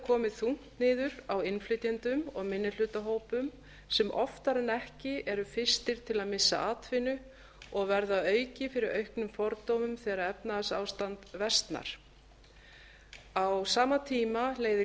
komið þungt niður á innflytjendum og minnihlutahópum sem oftar en ekki eru fyrstir til að missa atvinnu og verða að auki fyrir auknum fordómum þegar efnahagsástand versnar á sama tíma leiðir